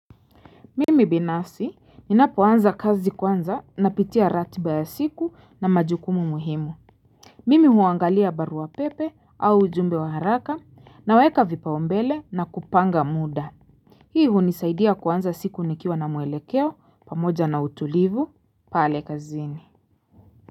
Mimi binafsi ninapoanza kazi kwanza na pitia ratiba ya siku na majukumu muhimu Mimi huangalia barua pepe au ujumbe wa haraka naweka vipaumbele na kupanga muda Hii hunisaidia kuanza siku nikiwa na mwelekeo pamoja na utulivu pale kazini.